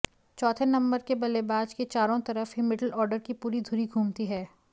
चौथे नंबर के बल्लेबाज के चारों तरफ ही मिडल ऑडर की पूरी धुरी घूमती है